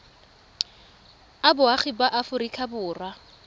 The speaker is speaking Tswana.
a boagi ba aforika borwa